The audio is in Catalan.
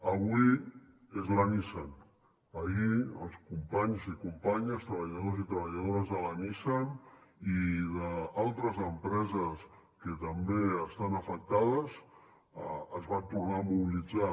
avui és la nissan ahir els companys i companyes treballadors i treballadores de la nissan i d’altres empreses que també estan afectades es van tornar a mobilitzar